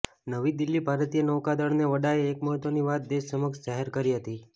નવી દિલ્હીઃ ભારતીય નૌકાદળના વડાએ એક મહત્ત્વની વાત દેશ સમક્ષ જાહેર કરી હતી